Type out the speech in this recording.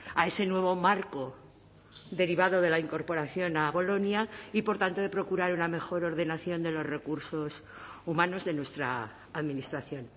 a ese nuevo marco derivado de la incorporación a bolonia y por tanto de procurar una mejor ordenación de los recursos humanos de nuestra administración